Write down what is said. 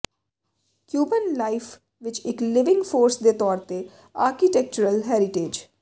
Cuban life ਵਿੱਚ ਇੱਕ living force ਦੇ ਤੌਰ ਤੇ ਆਰਕੀਟੈਕਚਰਲ ਹੈਰੀਟੇਜ